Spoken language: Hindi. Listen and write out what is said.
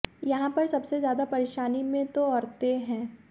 यहां पर सबसे ज्यादा परेशानी में तो औरते है